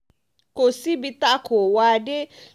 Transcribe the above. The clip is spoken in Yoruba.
kò síbi tá a kó wa dé